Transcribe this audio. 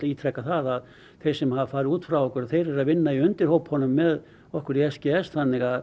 ítreka það að þeir sem hafa farið út frá okkur þeir eru að vinna í með okkur í s g s þannig að